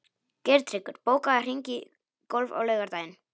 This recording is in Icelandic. Geirtryggur, bókaðu hring í golf á laugardaginn.